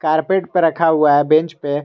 Carpet पे रखा हुआ है बेंच पे।